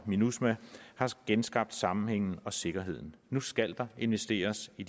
minusma har genskabt sammenhængen og sikkerheden nu skal der investeres i